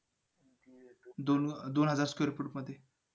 चांगली गोष्ट आहे बर ठीक आहे ते तुला